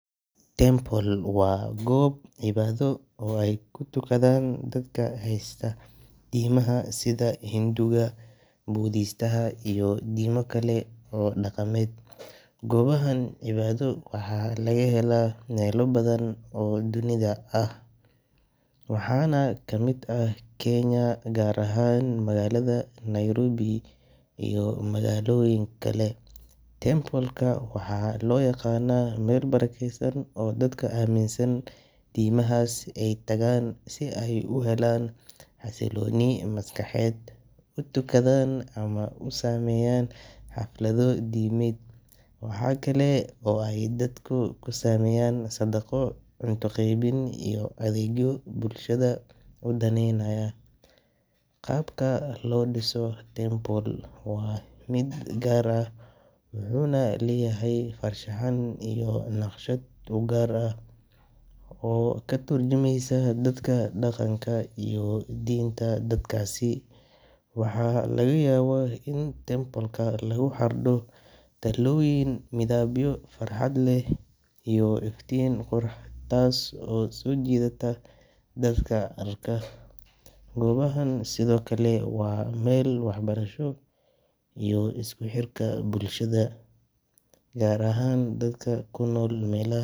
Temple waa gob cibaado oo ay kutugadan dadka haystoo diimaha sida hinduga, budistaha iyo diima kale oo dhaqameed, gobahan cibaado waxay laga hela melo badan oo dunida ah waxana kamid ah Kenya gaar ahan magaalada Nairobi iyo magaalaoyin kale, tembolka waxaa loo yaqana Mel barakeysan oo dadka aaminsan diimahas ay tagan si ay u helaan xasilooni maskaxeed, utukadan ama u sameeyan xaflado diimed waxakale oo ay dadku kusaameyan sadaqo, cunta qeybin iyo adeegyo bulshada udaneynaya, qabka loo dhiso Temple waa mid gaar ah wuxuuna leyahay farshaxan iyo naqshad ugaar ah oo katurjumeysa dadka dhaqanka iyo diinta dadkaasi, waxa laga yaba in tembolka lugu xardho talaaboyin midibyo farxad leh iyo iftin qurux, taaso soo jiidata dadka halka, gobahaan sidokale waa Mel wax barasho iyo isku xirka bulshada gaar ahan dadka kunol melaha macbadanka